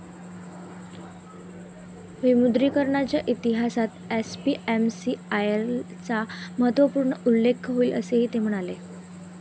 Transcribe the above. विमुद्रीकरणाच्या इतिहासात एसपीएमसीआयएलचा महत्त्वपूर्ण उल्लेख होईल, असेही ते म्हणाले